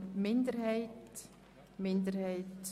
Globalbeitrag medizinische Innovation (Massnahme 44.2.6)